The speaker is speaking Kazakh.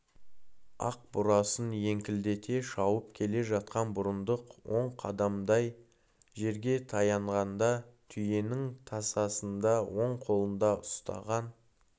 ақ бурасын еңкілдете шауып келе жатқан бұрындық он қадамдай жерге таянғанда түйенің тасасында оң қолында ұстаған